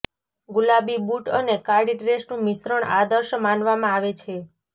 ગુલાબી બૂટ અને કાળી ડ્રેસનું મિશ્રણ આદર્શ માનવામાં આવે છે